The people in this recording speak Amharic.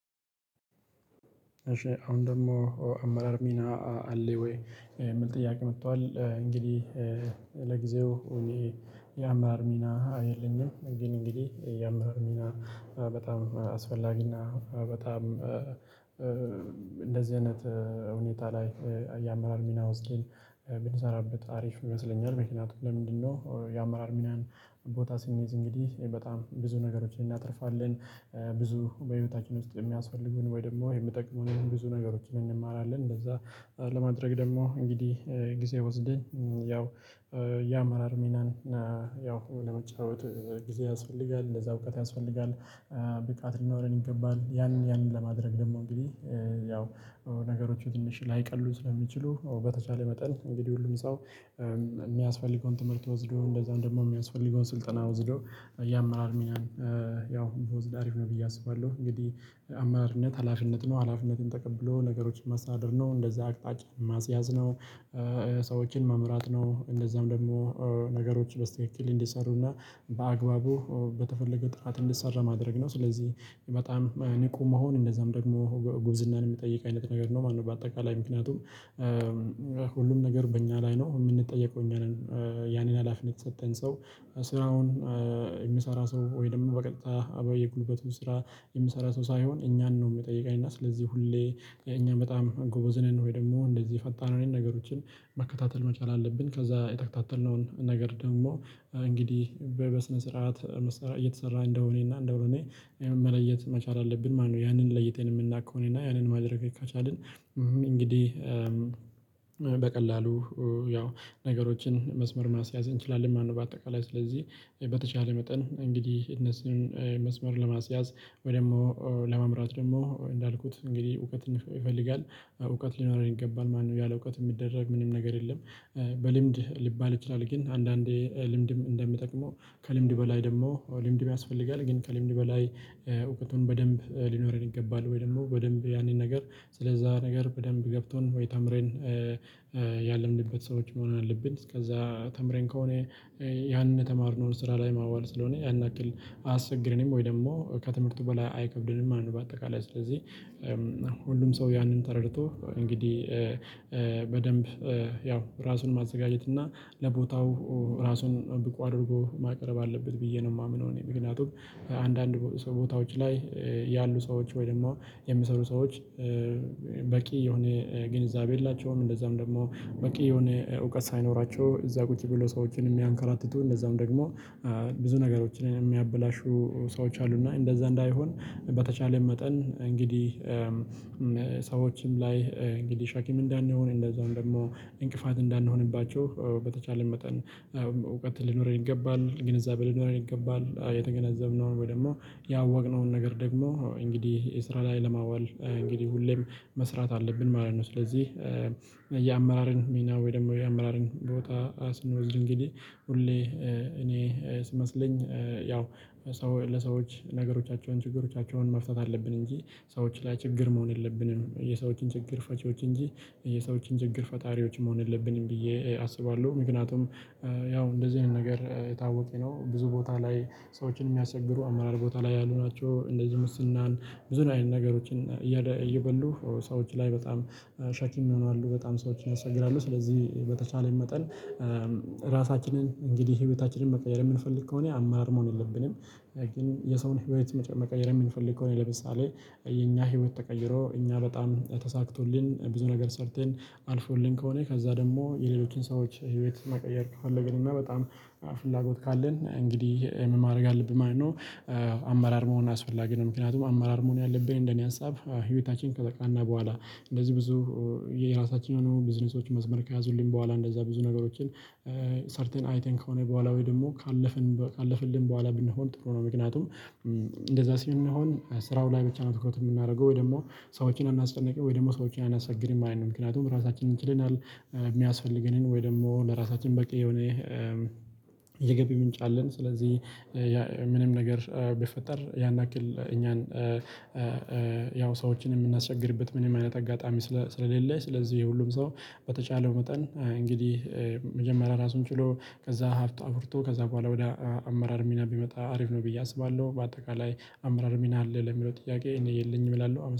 እሺ አሁን ደግሞ አመራር ሚና አለው ወይ የሚል ጥያቄ? መጥቷል እንግዲህ ለጊዜው እኔ የአመራር ሚና የለኝም። ግን እንግዲህ የአመራር ሚና በጣም አስፈላጊ እና በጣም እንደዚህ አይነት ሁኔታ ላይ የአመራር ሚና ወስደን ብንሰራበት አሪፍ ይመስለኛል። ምክንያቱም ለምንድነው የአመራር ሚናን ቦታ ስንይዝ እንግዲህ በጣም ብዙ ነገሮችን እናተርፋለን ብዙ በህይወታችን ውስጥ የሚያስፈልጉን ወይ ደግሞ የሚጠቅሙንን ብዙ ነገሮችን እንማራለን። እንደዛ ለማድረግ ደግሞ እንግዲህ ጊዜ ወስደን ያው የአመራር ሚናን ያው ለመጫወት ጊዜ ያስፈልጋል እንደዛ እውቀት ያስፈልጋል። ብቃት ሊኖረን ይገባል። ያንን ያንን ለማድረግ ደግሞ እንግዲህ ያው ነገሮቹ ትንሽ ላይቀሉ ስለሚችሉ በተቻለ መጠን እንግዲህ ሁሉም ሰው። ሚያስፈልገውን ትምህርት ወስዶ እንደዛም ደግሞ ሚያስፈልገውን ስልጠና ወስዶ የአመራር ሚናን ያው ቢወስድ አሪፍ ነው ብዬ አስባለሁ። እንግዲህ አመራርነት ሀላፊነት ነው ሀላፊነትን ተቀብሎ ነገሮችን ማስተዳደር ነው እንደዛ አቅጣጫ ማስያዝ ነው። ሰዎችን መምራት ነው። እንደዛም ደግሞ ነገሮች በስትክክል እንዲሰሩ እና በአግባቡ በተፈለገው ጥራት እንዲሰራ ማድረግ ነው። ስለዚህ በጣም ንቁ መሆን እንደዛም ደግሞ ጎ ጉብዝናን ሚጠይቅ አይነት ነገር ነው ማለት ነው። በአጠቃላይ ምክንያቱም ሁሉም ነገር በእኛ ላይ ነው እምንጠየቀው እኛ ነን። ያንን ሀላፊነት የሰጠን ሰው ስራውን የሚሰራ ሰው ወይ ደግሞ በቀጥታ አባይ የጉልበቱ ስራ የሚሰራ ሰው ሳይሆን እኛን ነው ሚጠይቀኝ። እና ስለዚህ ሁሌ እኛም በጣም ጎበዝ ነን ወይ ደግሞ እንደዚህ ፈጣን አይነት ነገሮችን መከታተል መቻል አለብን። ከዛ የተከታተልነውን ነገር ደግሞ እንግዲህ በ በስነ ስርዓት መሰራ እየተሰራ እንደሆነ እና እንዳልሆነ መለየት መቻል አለብን ማለት ነው። ያንን ለይተን የምናቅ ከሆነ እና ያንን ማድረግ ከቻልን። እንግዲህ በቀላሉ ያው ነገሮችን መስመር ማስያዝ እንችላለን ማለት ነው። በአጠቃላይ ስለዚህ በተቻለ መጠን እንግዲህ እነሱን መስመር ለማስያዝ ወይ ደግሞ ለመምራት ደግሞ እንዳልኩት እንግዲህ እውቀትን ይፈ ይፈልጋል እውቀት ሊኖረን ይገባል ማለት ነው። ያለ እውቀት እሚደረግ ምንም ነገር የለም። በልምድ ሊባል ይችላል ግን አንዳንዴ ልምድም እንደሚጠቅመው ከልምድ በላይ ደግሞ ልምድም ያስፈልጋል ግን ከልምድ በላይ እውቀቱን በደንብ ሊኖረን ይገባል። ወይ ደግሞ በደንብ ያንን ነገር ስለዛ ነገር በደንብ ገብቶን ወይ ተምረን ያለምንበት ሰዎች መሆን አለብን። እስከዛ ተምረን ከሆነ ያንን የተማርነውን ስራ ላይ ማዋል ስለሆነ ያን ያክል አያስቸግረንም ወይ ደግሞ ከትምህርቱ በላይ አይከብደንም ማለት ነው። በአጠቃላይ ስለዚህ ሁሉም ሰው ያንን ተረድቶ እንግዲህ በደንብ ያው እራሱን ማዘጋጀት እና ለቦታው እራሱን ብቁ አድርጎ ማቅረብ አለበት ብዬ ነው ማምነው። እኔ ምክንያቱም አንዳንድ ቦ ሰ ቦታዎች ላይ ያሉ ሰዎች ወይ ደግሞ የሚሰሩ ሰዎች በቂ የሆነ ግንዛቤ የላቸውም። እንደዛም ደግሞ በቂ የሆነ እውቀት ሳይኖራቸው እዛ ቁጭ ብለው ሰዎችን እሚያንከራትቱ እንደዛውም ደግሞ ብዙ ነገሮችን የሚያበላሹ ሰዎች አሉ። እና እንደዛ እንዳይሆን በተቻለኝ መጠን እንግዲህ ሰዎችም ላይ እንግዲህ ሸክም እንዳንሆን እንደዛውም ደግሞ እንቅፋት እንዳንሆንባቸው በተቻለን መጠን እውቀት ሊኖረን ይገባል ግንዛቤ ሊኖረን ይገባል። የተገነዘብነውን ወይ ደግሞ ያወቅነውን ነገር ደግሞ እንግዲህ የስራ ላይ ለማዋል እንግዲህ ሁሌም መስራት አለብን ማለት ነው። ስለዚህ የአመራርን ሚና ወይ ደግሞ የአመራርን ቦታ ስንወስድ እንግዲህ ሁሌ እኔ ሲመስለኝ ያው ሰው ለሰዎች ነገሮቻቸውን ችግሮቻቸውን መፍታት አለብን እንጂ ሰዎች ላይ ችግር መሆን የለብንም። የሰዎችን ችግር ፈቺዎች እንጂ የሰዎችን ችግር ፈጣሪዎች መሆን የለብንም ብዬ አስባለሁ። ምክንያቱም ያው እንደዚህ አይነት ነገር የታወቀ ነው ብዙ ቦታ ላይ ሰዎችን ሚያስቸግሩ አመራር ቦታ ላይ ያሉ ናቸው። እንደዚሁ ሙስናን ብዙ ነ አይነት ነገሮችን እያደ እየበሉ ሰዎች ላይ በጣም ሸክም ይሆናሉ። በጣም ሰዎችን ያስቸግራሉ ስለዚህ በተቻለን መጠን ራሳችንን እንግዲህ ህይወታችንን መቀየር የምንፈልግ ከሆነ አመራር መሆን የለብንም። ግን የሰውን ህይወት መጨ መቀየር የምንፈልግ ከሆነ ለምሳሌ የኛ ህይወት ተቀይሮ እኛ በጣም ተሳክቶልን ብዙ ነገር ሰርተን አልፎልን ከሆነ ከዛ ደግሞ የሌሎችን ሰዎች ህይወት መቀየር ከፈለግን እና በጣም ፍላጎት ካለን እንግዲህ ምን ማድረግ አለብን ማለት ነው። አመራር መሆን አስፈላጊ ነው። ምክንያቱም አመራር መሆን ያለብኝን እንደኔ ሀሳብ ህይወታችን ከተቃና በኋላ እንደዚህ ብዙ የራሳችን የሆኑ ቢዝነሶች መስመር ከያዙልን በኋላ እንደዛ ብዙ ነገሮችን ሰርተን አይተን ከሆነ በኋላ ወይ ደግሞ ካለፍን በ ካለፍልን በኋላ ብንሆን ጥሩ ነው። ምክንያቱም እንደዛ ስንሆን ስራው ላይ ብቻ ነው ትኩረት የምናረገው ወይ ደግሞ ሰዎችን አናስጨንቅም ወይ ደግሞ ሰዎችን አናስቸግርም ማለት ነው። ምክንያቱም ራሳችንን ችለናል ሚያስፈልገንን ወይ ደግሞ ለራሳችን በቂ የሆነ የገቢ ምንጭ አለን። ስለዚህ ምንም ነገር ቢፈጠር ያን ያክል እኛን ያው ሰዎችን የምናስቸግርበት ምንም አይነት አጋጣሚ ስለ ስለሌለ። ስለዚህ ሁሉም ሰው በተቻለው መጠን እንግዲህ መጀመሪያ ራሱን ችሎ ከዛ ሀብት አፍርቶ ከዛ በኋላ ወደ አመራር ሚና ቢመጣ አሪፍ ነው ብዬ አስባለሁ። በአጠቃላይ አመራር ሚና አለህ ለሚለው ጥያቄ እኔ የለኝም እላለሁ አመ